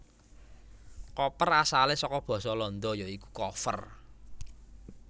Koper asalé saka basa Landa ya iku koffer